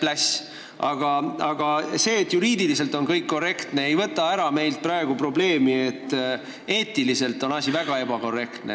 See aga, et juriidiliselt on kõik korrektne, ei võta meilt praegu ära probleemi, et eetiliselt on asi väga ebakorrektne.